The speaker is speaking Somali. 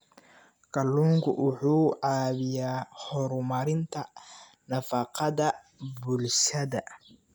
Kalluunku wuxuu caawiyaa horumarinta nafaqada bulshada.